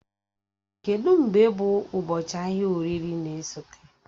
Kedụ mgbe bụ ụbọchị ahịa oririe na-esote?